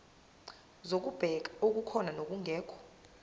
zokubheka okukhona nokungekho